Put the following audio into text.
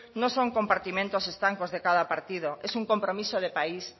no son compartimentos estancos de cada partido es un compromiso de país